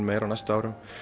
meira á næstu árum